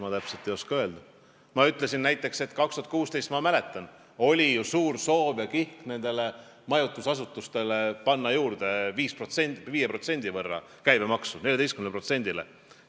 Ma ütlesin, et mäletatavasti oli ju näiteks aastal 2016 suur soov ja kihk panna majutusasutustele juurde 5% käibemaksu, suurendada seda 14%-le.